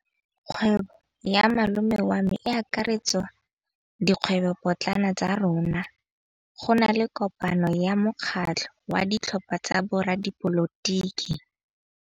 Kgwêbô ya malome wa me e akaretsa dikgwêbôpotlana tsa rona. Go na le kopanô ya mokgatlhô wa ditlhopha tsa boradipolotiki.